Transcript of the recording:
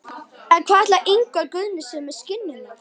En hvað ætlar Ingvar Guðni sér með skinnurnar?